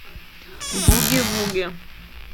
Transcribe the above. буги вуги